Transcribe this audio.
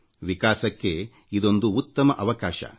ವಿಕಾಸಕ್ಕೆ ಇದೊಂದು ಉತ್ತಮ ಅವಕಾಶ